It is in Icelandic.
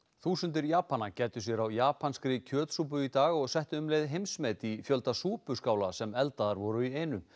þúsundir Japana gæddu sér á japanskri kjötsúpu í dag og settu um leið heimsmet í fjölda súpuskála sem eldaðar voru í einu